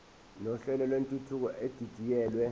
nohlelo lwentuthuko edidiyelwe